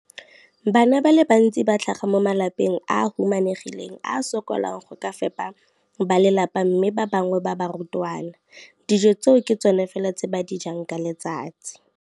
Bana ba le bantsi ba tlhaga mo malapeng a a humanegileng a a sokolang go ka fepa ba lelapa mme ba bangwe ba barutwana, dijo tseo ke tsona fela tse ba di jang ka letsatsi.